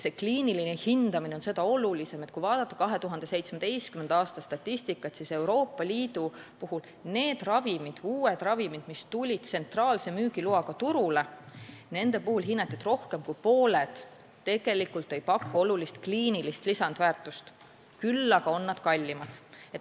See kliiniline hindamine on seda olulisem, et kui vaadata 2017. aasta statistikat, siis näeme hinnangut, et nendest uutest ravimitest, mis tulid Euroopa Liidus tsentraalse müügiloaga turule, rohkem kui pooled tegelikult ei pakkunud olulist kliinilist lisandväärtust, küll aga olid nad kallimad.